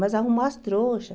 Mas arrumou as trouxas.